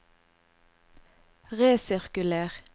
resirkuler